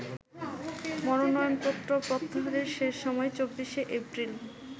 মনোনয়নপত্র প্রত্যাহারের শেষ সময় ২৪শে এপ্রিল।